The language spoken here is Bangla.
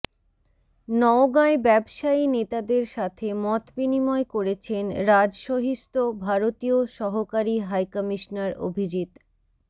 নওগাঁয় ব্যবসায়ী নেতাদের সাথে মতবিনিময় করেছেন রাজশহীস্থ ভারতীয় সহকারী হাইকমিশনার অভিজিৎ